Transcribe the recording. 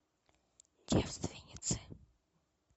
девственницы